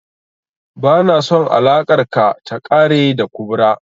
Ba na son alakar ka ta ƙare da kubra